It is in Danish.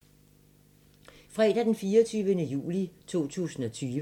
Fredag d. 24. juli 2020